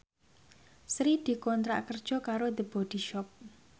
Sri dikontrak kerja karo The Body Shop